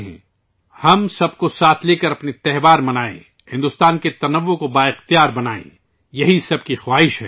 آیئے ، ہم سب کو ساتھ لے کر اپنے تہوار منائیں ، بھارت کے تنوع کو مضبوط کریں ، سب کی یہی آرزو ہے